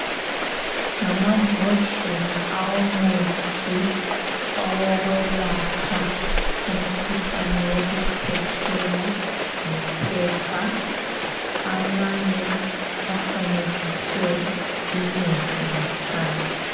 Ngamambodlela awomuthi owokwelapha umkhuhlane wokukhwehlela lo phepha amanye afanekiswe inyosi ngaphandle .